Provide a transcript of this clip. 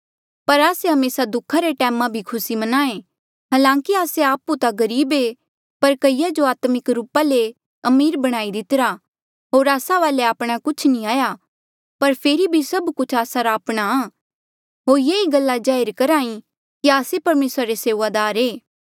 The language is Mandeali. पर आस्से हमेसा दुखा रे टैमा भी खुसी म्नांहें हलांकि आस्से आपु ता गरीब ऐें पर कईया जो आत्मिक रूपा ले अमीर बणाई दितिरा होर आस्सा वाले आपणा कुछ नी हाया पर फेरी भी सब कुछ आस्सा रा आपणा होर येही गल्ला जाहिर करही कि आस्से परमेसरा से सेऊआदार ऐें